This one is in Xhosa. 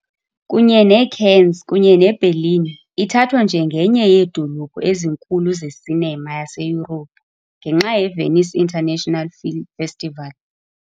Kunye neCannes kunye neBerlin, ithathwa njengenye yeedolophu ezinkulu ze-cinema yaseYurophu, ngenxa yeVenice International Film Festival.